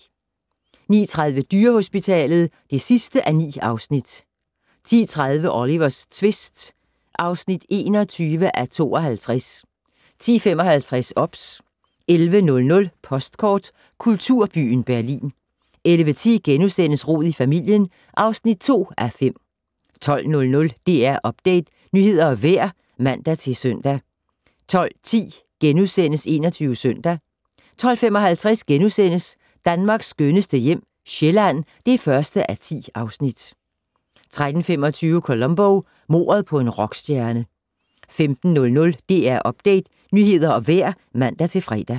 09:30: Dyrehospitalet (9:9) 10:30: Olivers tvist (21:52) 10:55: OBS 11:00: Postkort: Kulturbyen Berlin 11:10: Rod i familien (2:5)* 12:00: DR Update - nyheder og vejr (man-søn) 12:10: 21 Søndag * 12:55: Danmarks skønneste hjem - Sjælland (1:10)* 13:25: Columbo: Mordet på en rockstjerne 15:00: DR Update - nyheder og vejr (man-fre)